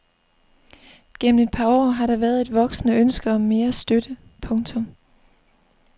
Gennem et par år har der været et voksende ønske om mere støtte. punktum